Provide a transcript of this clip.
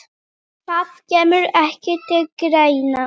Það kemur ekki til greina